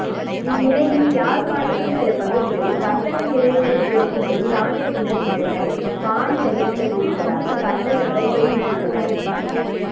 இந்நிலையில் யாழ்ப்பாணத்தின் சில பகுதிகளில் வர்த்தக நிலையங்களை திறக்கும்படி இராணுவத்தினர் மிரட்டல் பாணி அறிவித்தல் விடுவதாக வர்த்தகர்கள் தெரிவித்துள்ளனர்